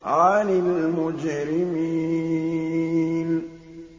عَنِ الْمُجْرِمِينَ